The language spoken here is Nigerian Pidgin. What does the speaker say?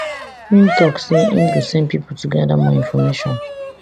im tok say im go send pipo to gada more information